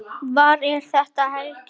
Hvað er þetta, Helgi?